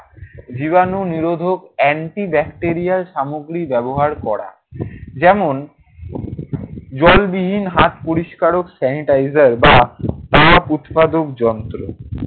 জীবাণু নিরোধক antibacterial সামগ্রী ব্যবহার করা। যেমন, জলবিহীন হাত পরিষ্কারক sanitizer বা তাপ উৎপাদক যন্ত্র।